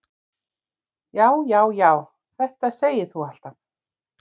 Já, já, já, þetta segir þú alltaf!